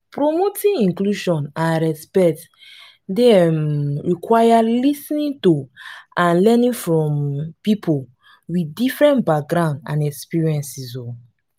promoting inclusion and respect dey um require lis ten ing to and learning from um people with different backgrounds and experiences. um